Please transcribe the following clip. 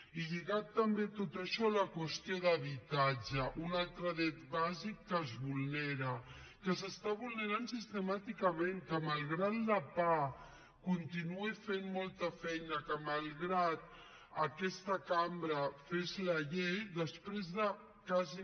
i lligat també a tot això la qüestió de l’habitatge un altre dret bàsic que es vulnera que es vulnera sistemàticament que malgrat que la pah continuï fent molta feina que malgrat que aquesta cambra fes la llei després de quasi